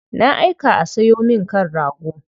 Na aika a sayo min kan rago.